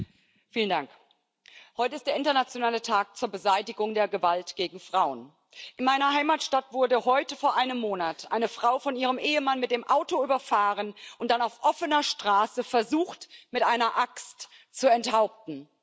Herr Präsident! Heute ist der Internationale Tag zur Beseitigung der Gewalt gegen Frauen. In meiner Heimatstadt wurde heute vor einem Monat eine Frau von ihrem Ehemann mit dem Auto überfahren, der Mann hat dann auf offener Straße versucht, seine Frau mit einer Axt zu enthaupten.